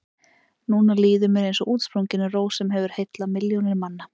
Núna líður mér eins og útsprunginni rós sem hefur heillað milljónir manna.